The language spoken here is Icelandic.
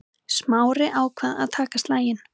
Smári ákvað að taka slaginn.